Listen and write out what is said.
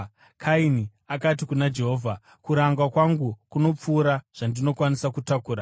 Kaini akati kuna Jehovha, “Kurangwa kwangu kunopfuura zvandinokwanisa kutakura.